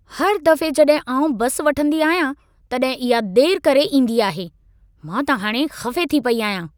हर दफ़े जॾहिं आउं बस वठंदी आहियां, तॾहिं इहा देरि करे ईंदी आहे। मां त हाणे ख़फ़े थी पई आहियां।